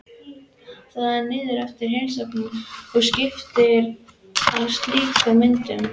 Það er siður eftir heimsóknir að skiptast á slíkum myndum.